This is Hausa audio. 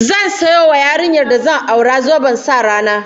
Zan sayo wa yarinyar da zan aura zoben sa rana